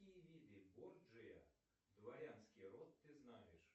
какие виды горджия дворянский род ты знаешь